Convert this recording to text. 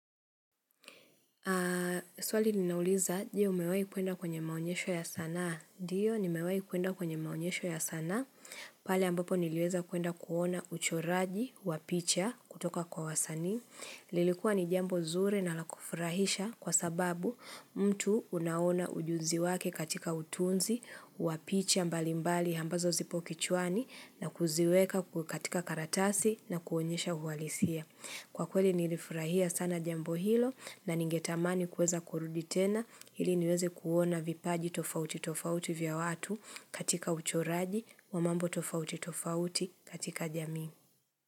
Swali linauliza, je umewai kwenda kwenye maonyesho ya sana. Ndio, nimewai kwenda kwenye maonyesho ya sana. Pale ambapo niliweza kwenda kuona uchoraji, wapicha, kutoka kwa wasaani. Lilikuwa ni jambo nzuri na lakufurahisha kwa sababu mtu unaona ujuzi wake katika utunzi, wapicha mbali mbali ambazo zipo kichwani na kuziweka katika karatasi na kuonyesha uhalisia. Kwa kweli nilifurahia sana jambo hilo na ningetamani kuweza kurudi tena hili niweze kuona vipaji tofauti tofauti vya watu katika uchoraji wa mambo tofauti tofauti katika jamii.